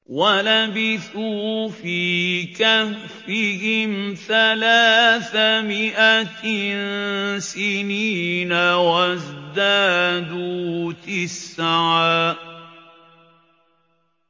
وَلَبِثُوا فِي كَهْفِهِمْ ثَلَاثَ مِائَةٍ سِنِينَ وَازْدَادُوا تِسْعًا